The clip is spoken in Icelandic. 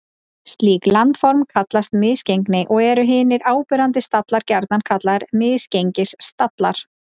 Slík landform kallast misgengi og eru hinir áberandi stallar gjarnan kallaðir misgengisstallar.